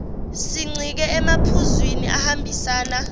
sincike emaphuzwini ahambisana